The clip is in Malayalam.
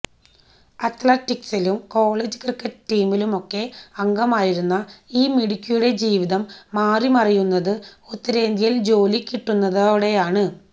അത്ലറ്റിക്സിലും കോളേജ് ക്രിക്കറ്റ് ടീമിലുമൊക്കെ അംഗമായിരുന്ന ഈ മിടുക്കിയുടെ ജീവിതം മാറിമറയുന്നത് ഉത്തരേന്ത്യയിൽ ജോലികിട്ടുന്നതോടെയാണ്